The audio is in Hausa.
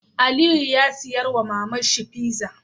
Aliyu ya siya wa maman shi pizza